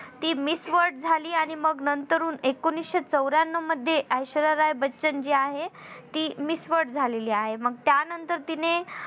ती miss word झाली. आणि मग नंतरून एकोणीशे चौर्यानव मध्ये ऐश्वर्या राय बच्चन जी आहे ती miss word झालेली आहे. मग त्यानंतर तिने